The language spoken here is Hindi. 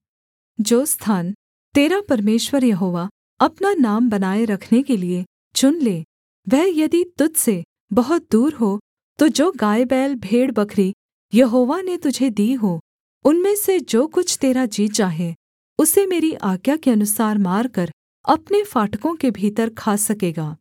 जो स्थान तेरा परमेश्वर यहोवा अपना नाम बनाए रखने के लिये चुन ले वह यदि तुझ से बहुत दूर हो तो जो गायबैल भेड़बकरी यहोवा ने तुझे दी हों उनमें से जो कुछ तेरा जी चाहे उसे मेरी आज्ञा के अनुसार मारकर अपने फाटकों के भीतर खा सकेगा